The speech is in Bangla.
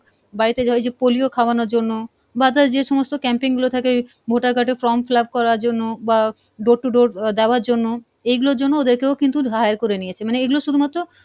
বাড়িতে ধর ওই যে polio খাওয়ানোর জন্য বা other যে সমস্ত camping গুলো থাকে voter card এর form fill up করার জন্য বা door to door আহ দেওয়ার জন্য, এইগুলোর জন্য ওদেরকেও কিন্তু hire করে নিয়েছে, মানে এগুলো শুধুমাত্র,